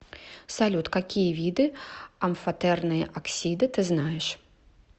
салют какие виды амфотерные оксиды ты знаешь